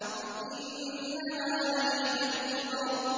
إِنَّهَا لَإِحْدَى الْكُبَرِ